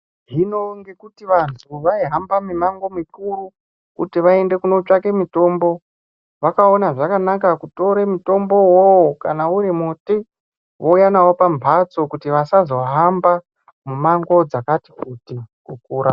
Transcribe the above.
Zvino ngekuti antu aihambe mumango mukuru , kuti vaende kundotsvaga mitombo , zvakaona zvakanaka kutora mutombowo iwoyo kana uri muti vauya nawo pambatso kuti vasazohamba mumango wakati kuti kukura.